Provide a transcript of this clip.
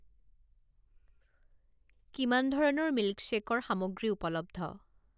কিমান ধৰণৰ মিল্কশ্বেকৰ সামগ্ৰী উপলব্ধ?